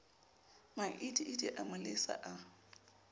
maidiidi a mo lesa a